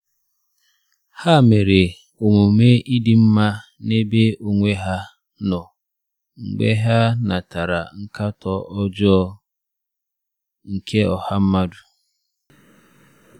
Ha mere omume ịdị mma n'ebe onwe ha nọ mgbe ha natara nkatọ ọjọọ nke ọha mmadụ.